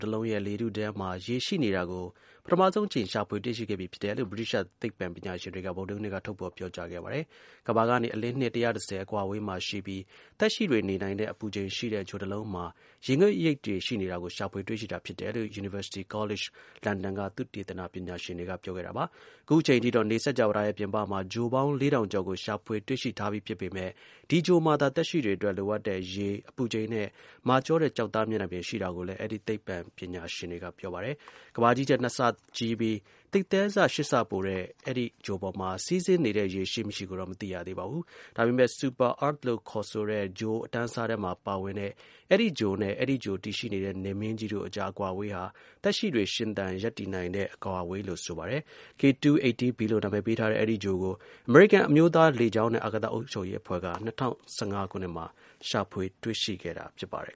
တလုံးရဲ့လေထုထဲမှာ ရေရှိနေတာကို ပထမဆုံး အကြိမ် ရှာဖွေတွေ့ရှိခဲ့ပြီဖြစ်တယ်လို့ ဗြိတိသျှ သိပ္ပံ ပညာရှင်တွေက ဗုဒ္ဓဟူးနေ့က ထုတ်ဖော်ပြောကြားခဲ့ပါတယ်။ ကမ္ဘာကနေ အလင်းနှစ် ၁၁၀ အကွာအဝေးမှာ ရှိပြီး သက်ရှိတွေနေနိုင်တဲ့ အပူချိန်ရှိတဲ့ ဂြိုဟ်တလုံးမှာ ရေငွေ့ရိပ်တွေ ရှိနေတာကို ရှာဖွေတွေ့ရှိတာဖြစ်တယ်လို့ University College London က သုတေသန ပညာရှင်တွေက ပြောခဲ့တာပါ။ အခုချိန် အထိတော့ နေစကြဝဠာရဲ့ပြင်ပမှာ ဂြိုဟ်ပေါင်း ၄၀၀၀ ကျော်ကို ရှာဖွေ တွေ့ရှိထားခဲ့ပေမဲ့ ဒီ ဂြိုဟ်မှာသာ သက်ရှိတွေ အတွက် လိုအပ်တဲ့ ရေ၊ အပူချိန်နဲ့ မာကျောတဲ့ ကျောက်သား မျက်နှာပြင် ရှိတာလို့လည်း အဲဒီ သိပ္ပံ ပညာရှင်တွေက ပြောပါတယ်။ ကမ္ဘာကြီးထက် နှစ်ဆကြီးပြီး သိပ်သည်းဆ ၈ ဆ ပိုတဲ့ အဲဒီ ဂြိုဟ်ပေါ်မှာ စီးဆင်းနေတဲ့ ရေ ရှိမရှိကိုတော့ မသိရသေးပါဘူး။ ဒါပေမဲ့ Super Earth လို့ ခေါ်ဆိုတဲ့ ဂြိုဟ် အတန်းအစားထဲမှာ ပါဝင်တဲ့ အဲဒီ ဂြိုဟ်နဲ့ အဲဒီ ဂြိုဟ်တည်ရှိတဲ့ နေမင်းကြီးတို့အကြား အကွာအဝေးဟာ သက်ရှိ တွေ ရှင်သန် ရပ်တည်နိုင်တဲ့ အကွာအဝေးလို့ ဆိုပါတယ်။ K2-18b လို့ နာမည် ပေးထားတဲ့ အဲဒီ ဂြိုဟ်ကို အမေရိကန် အမျိုးသား လေကြောင်းနဲ့ အာကာသ အုပ်ချုပ်ရေးအဖွဲ့က ၂၀၁၅ ခုနှစ်မှာ ရှာဖွေ တွေ့ရှိခဲ့တာ ဖြစ်ပါတယ်